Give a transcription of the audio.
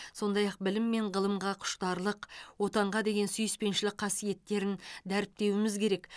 сондай ақ білім мен ғылымға құштарлық отанға деген сүйіспеншілік қасиеттерін дәріптеуіміз керек